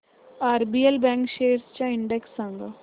RBL bank shares चा index सांगा